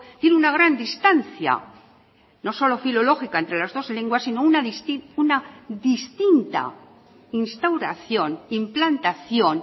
tiene una gran distancia no solo filológica entre las dos lenguas sino una distinta instauración implantación